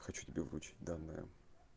хочу тебе вручить данные